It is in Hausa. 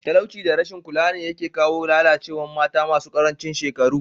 Talauci da rashin kula ne yake kawo lalacewar mata masu karancin shekaru.